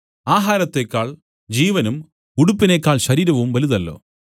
ആഹാരത്തേക്കാൾ ജീവനും ഉടുപ്പിനേക്കാൾ ശരീരവും വലുതല്ലോ